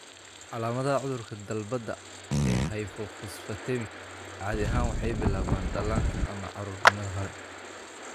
Calaamadaha cudurka dalbada ee hypophosphatemic caadi ahaan waxay bilaabmaan dhallaanka ama carruurnimada hore.